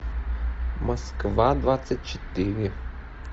москва двадцать четыре